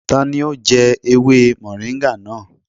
Tani ó jẹ́ ewé mọ̀ríńgà náà?